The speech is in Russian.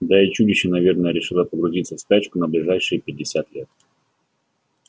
да и чудище наверное решило погрузиться в спячку на ближайшие пятьдесят лет